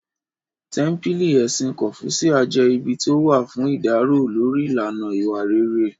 Tẹ́ḿpílì Ẹ̀sìn kọ́fúṣíà jẹ́ ibi tó wà fún ìdárò lórí ìlànà ìwà rere